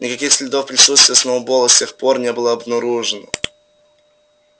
никаких следов присутствия сноуболла с тех пор не было обнаружено